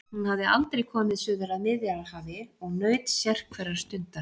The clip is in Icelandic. Hún hafði aldrei komið suður að Miðjarðarhafi og naut sérhverrar stundar.